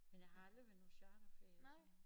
Men jeg har aldrig været på charterferie og sådan noget